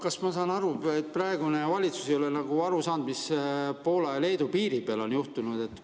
Kas ma saan õigesti aru, et praegune valitsus ei ole aru saanud, mis Poola ja Leedu piiri peal on juhtunud?